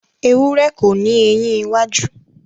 Ewurẹ́ kò ni eyín iwájú